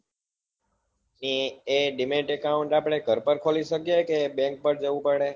એ demat account આપડે ઘરપર ખોલી શકીએ કે bank માં જવું પડે